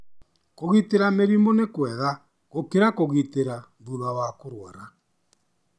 Kũĩgitĩra mĩrimũ nĩ kwega gũkĩra kũrigita thutha wa kũrwara.